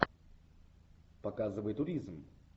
показывай туризм